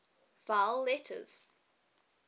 vowel letters